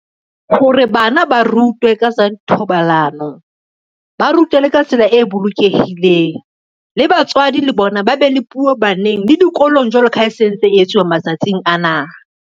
Hore bana ba rutwe ka tsa thobalano, ba rutwe le ka tsela e bolokehileng. Le batswadi le bona ba be le puo baneng le dikolong jwalo ka ha e sentse e etsuwa matsatsing ana.